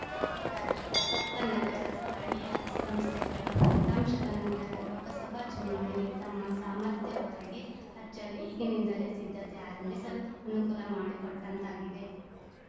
ಹೀಗಾಗಿ ಪ್ರಸಕ್ತ ನಗರ ಸ್ಥಳೀಯ ಸಂಸ್ಥೆಗಳ ಫಲಿತಾಂಶದ ನಂತರ ಲೋಕಸಭಾ ಚುನಾವಣೆಗೆ ತಮ್ಮ ಸಾಮರ್ಥ್ಯ ಒರೆಗೆ ಹಚ್ಚಲು ಈಗಿನಿಂದಲೇ ಸಿದ್ಧತೆ ಆರಂಭಿಸಲು ಅನುಕೂಲ ಮಾಡಿಕೊಟ್ಟಂತಾಗಿದೆ